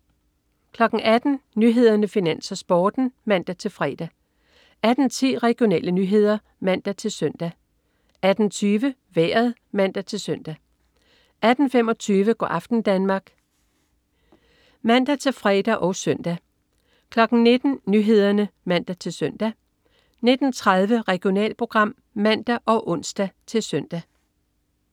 18.00 Nyhederne, Finans, Sporten (man-fre) 18.10 Regionale nyheder (man-søn) 18.20 Vejret (man-søn) 18.25 Go' aften Danmark (man-fre og søn) 19.00 Nyhederne (man-søn) 19.30 Regionalprogram (man og ons-søn)